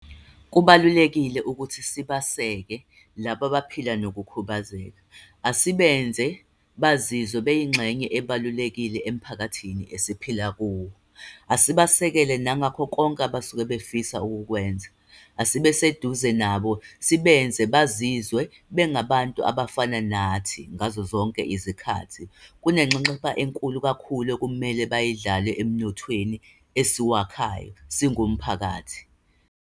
Kubalulekile ukuthi sibaseke labo abaphila nokukhubazeka. Asibenze bazizwe beyingxenye ebalulekile emphakathini esiphila kuwo. Asibasekele nangakho konke abasuke befisa ukukwenza. Asibe seduze nabo, sibenze bazizwe bengabantu abafana nathi ngazo zonke izikhathi. Unenxexheba enkulu kakhulu kumele bayidlale emnothweni esiwakhayo singumphakathi.